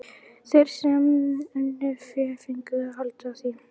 Þeir sem unnu fé fengu að halda því.